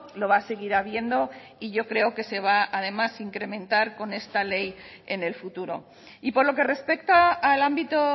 lo va a seguir habiendo y yo creo que se va además a incrementar con esta ley en el futuro y por lo que respecta al ámbito